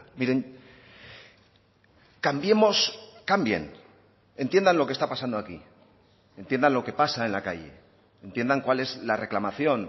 miren cambiemos cambien entiendan lo que está pasando aquí entiendan lo que pasa en la calle entiendan cuál es la reclamación